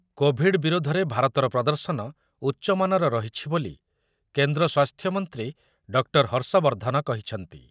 Covid ବିରୋଧରେ ଭାରତର ପ୍ରଦର୍ଶନ ଉଚ୍ଚମାନର ରହିଛି ବୋଲି କେନ୍ଦ୍ର ସ୍ୱାସ୍ଥ୍ୟ ମନ୍ତ୍ରୀ ଡକ୍ଟର ହର୍ଷବର୍ଦ୍ଧନ କହିଛନ୍ତି।